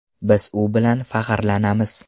Biz u bilan faxrlanamiz.